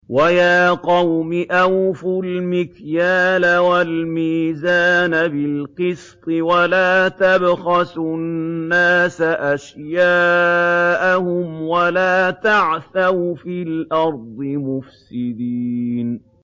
وَيَا قَوْمِ أَوْفُوا الْمِكْيَالَ وَالْمِيزَانَ بِالْقِسْطِ ۖ وَلَا تَبْخَسُوا النَّاسَ أَشْيَاءَهُمْ وَلَا تَعْثَوْا فِي الْأَرْضِ مُفْسِدِينَ